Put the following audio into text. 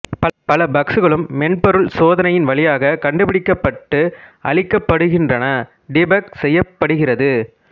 பல பக்ஸ்களும் மென்பொருள் சோதனையின் வழியாக கண்டுபிடிக்கப்பட்டு அழிக்கப்படுகின்றன டீபக் செய்யப்படுகிறது